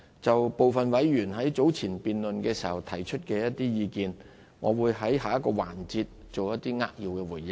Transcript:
就部分委員早前辯論的時候提出的意見，我會在下一個環節作出一些扼要的回應。